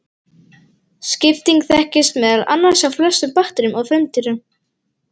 Skipting þekkist meðal annars hjá flestum bakteríum og frumdýrum.